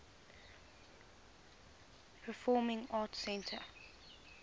performing arts center